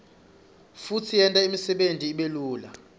futsi yenta imsebenti ibelula